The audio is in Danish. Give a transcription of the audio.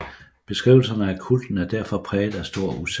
Beskrivelserne af kulten er derfor præget af stor usikkerhed